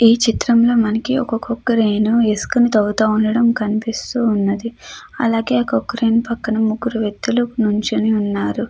ఈ చిత్రంలో మనకి ఒక క్రేను వేసుకొని తవ్వుతూ కనిపిస్తూ ఉన్నది. అలాగే ఆ క్రేను పక్కన ముగ్గురు వ్యక్తులు నిల్చుని ఉన్నారు.